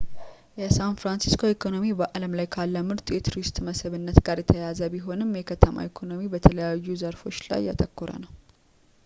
የሳን ፍራንሲስኮ ኢኮኖሚ በአለም ላይ ካለ ምርጡ የቱሪስት መስህብነት ጋር የተያያዘ ቢሆንም የከተማው ኢኮኖሚ በተለያዩ ዘርፎች ላይ ያተኮረ ነው